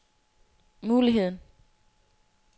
muligheden